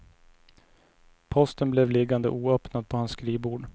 Posten blev liggande oöppnad på hans skrivbord.